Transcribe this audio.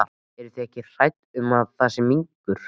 Eru þið ekkert hrædd um að það sé minkur?